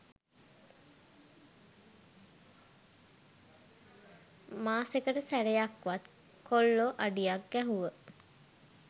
මාසෙකට සැරයක්වත් කොල්ලො අඩියක් ගැහුව